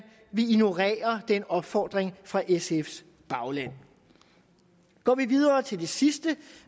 vil ignorere den opfordring fra sfs bagland går vi videre til det sidste